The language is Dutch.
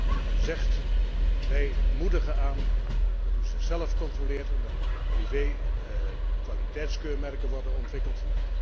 Dat men zegt wij moedigen aan dat u zichzelf controleert en dat privé kwaliteitskeurmerken worden ontwikkeld.